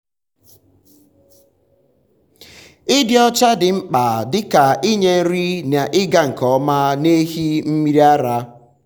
ịdị ọcha dị mkpa dịka inye nri n’ịga nke ọma n’ehi mmiri ara.